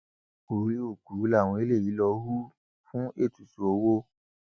orí òkú làwọn eléyìí lọọ hù fún ètùtù owó